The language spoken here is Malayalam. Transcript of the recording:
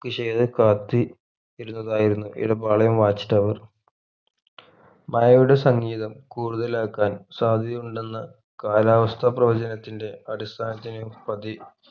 കുശേലം കാത്തി ഇരുന്നതായിരുന്നു ഇവിടെ പാളയം watch tower മഴയുടെ സംഗീതം കൂടുതലാകാൻ സാധ്യതയുണ്ടെന്ന് കാലാവസ്ഥ പ്രവചനത്തിന്റെ അടിസ്ഥാനത്തിലും പതി